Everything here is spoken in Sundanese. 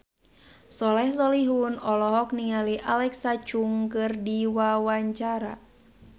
Soleh Solihun olohok ningali Alexa Chung keur diwawancara